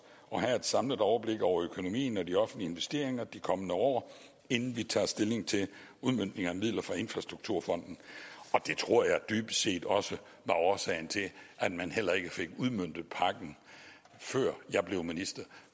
at have et samlet overblik over økonomien og de offentlige investeringer i de kommende år inden vi tager stilling til udmøntning af midler fra infrastrukturfonden og det tror jeg dybest set også er årsagen til at man heller ikke fik udmøntet pakken før jeg blev minister